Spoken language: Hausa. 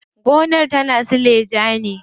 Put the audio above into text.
Gonar tana suleja ne.